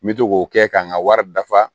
N bɛ to k'o kɛ ka n ka wari dafa